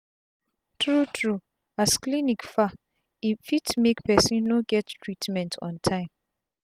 tru tru as clinic far e fit make person no get treatment on tym